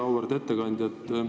Väga auväärt ettekandja!